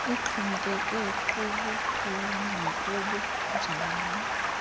ixhomekeke kubukhulu nakubunjani